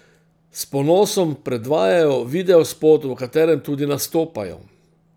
S ponosom predvajajo videospot, v katerem tudi nastopajo.